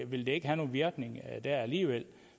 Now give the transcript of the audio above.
vil det ikke have nogen virkning dér alligevel